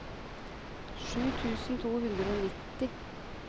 sju tusen to hundre og nitti